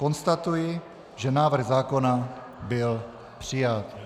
Konstatuji, že návrh zákona byl přijat.